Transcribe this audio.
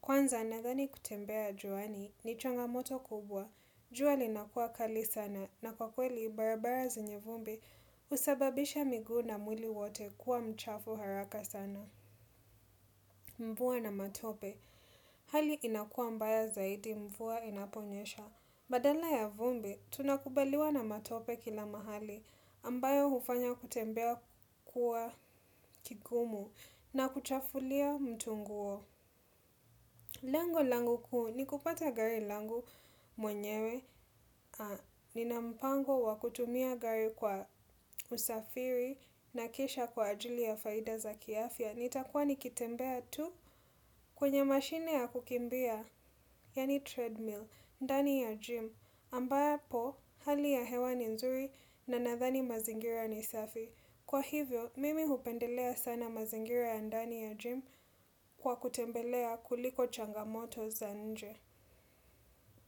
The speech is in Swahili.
Kwanza nadhani kutembea juani ni changamoto kubwa, jua linakuwa kali sana na kwa kweli barabara zenye vumbi husababisha miguu na mwili wote kuwa mchafu haraka sana. Mvua na matope. Hali inakuwa mbaya zaidi mvua inaponyesha. Badala ya vumbi, tunakubaliwa na matope kila mahali ambayo hufanya kutembea kuwa kigumu na kuchafulia mtu nguo. Lengo langu kuu, ni kupata gari langu mwenyewe, ninampango wa kutumia gari kwa usafiri na kisha kwa ajili ya faida za kiafya. Nitakuwa nikitembea tu kwenye mashine ya kukimbia, yaani treadmill, ndani ya gym, ambapo hali ya hewa ni nzuri na nadhani mazingira ni safi. Kwa hivyo, mimi hupendelea sana mazingira ya ndani ya gym kwa kutembelea kuliko changamoto za nje.